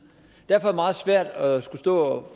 derfor er det meget svært at skulle stå og